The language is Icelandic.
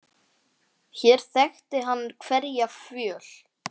Hér þekkti hann hverja fjöl.